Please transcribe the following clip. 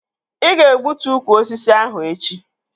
Ị ga-egbutu ukwu osisi ahụ echi!